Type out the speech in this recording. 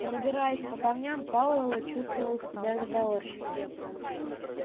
пробираясь по камням пауэлл чувствовал себя заговорщиком